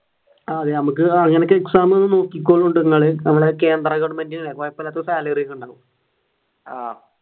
ആഹ് അതെ നമുക്ക്